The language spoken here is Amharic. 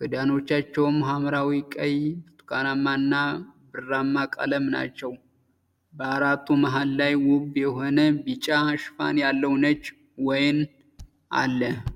ክዳኖቻቸውም ሀምራዊ፣ ቀይ፣ ብርቱካናማ እና ብርማ ቀለሞች ናቸው። በአራቱ መሃል ላይ ውብ የሆነ ቢጫ ሽፋን ያለው ነጭ ወይን አለ።